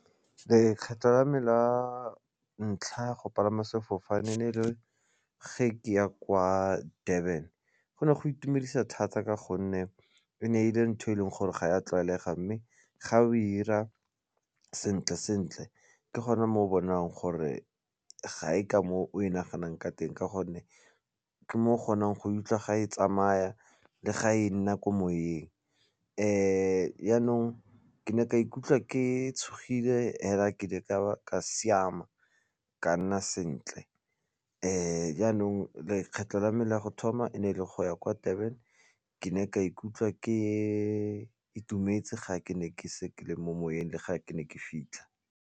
Lekgetho la me la ntlha go palama sefofane e ne e le ge ke ya kwa Durban go ne go itumedisa thata ka gonne e ne e le ntho e leng gore ga ya tlwaelega mme ga o 'ira sentle sentle ke gona mo o bonang gore ga e ka moo o e naganang ka teng ka gonne ke mo o kgonang go e utlwa ga e tsamaya le ga e nna ko moyeng yanong ke ne ka ikutlwa ke tshogile hela ke ne ka ka siama ka nna sentle jaanong lekgetlho la me la go thoma e ne e le go ya kwa Durban ke ne ka ikutlwa ke itumetse ga ke ne ke se ke le mo moweng le ga ke ne ke fitlha.